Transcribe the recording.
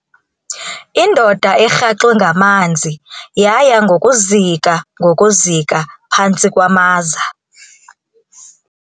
Indoda erhaxwe ngamanzi yaya ngokuzika ngokuzika phantsi kwamaza.